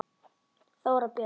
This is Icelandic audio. Þóra Björg.